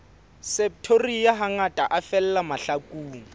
septoria hangata a fella mahlakung